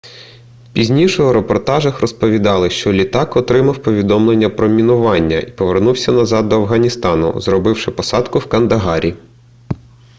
пізніше у репортажах розповідали що літак отримав повідомлення про мінування і повернувся назад до афганістану зробивши посадку в кандагарі